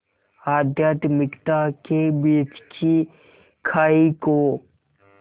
आध्यात्मिकता के बीच की खाई को